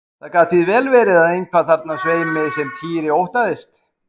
Það gat því vel verið eitthvað þarna á sveimi sem Týri óttaðist.